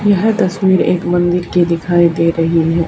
यह तस्वीर एक मंदीर की दिखाई दे रही है।